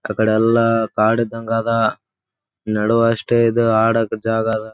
ಆಕಡೆ ಎಲ್ಲ ಕಾಡು ಇದ್ದಂಗದ ನಡುವಷ್ಟೇ ಇದು ಆಡಕ್ಕ ಜಾಗ ಅದ.